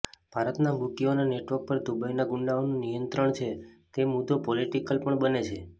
ભારતના બૂકીઓના નેટવર્ક પર દુબઈના ગુંડાઓનું નિયંત્રણ છે તે મુદ્દો પોલિટિકલ પણ બને છે